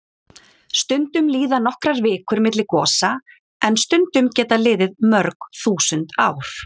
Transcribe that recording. Stundum líða nokkrar vikur milli gosa en stundum geta liðið mörg þúsund ár.